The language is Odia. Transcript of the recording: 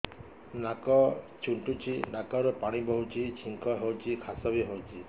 ନାକ ଚୁଣ୍ଟୁଚି ନାକରୁ ପାଣି ବହୁଛି ଛିଙ୍କ ହଉଚି ଖାସ ବି ହଉଚି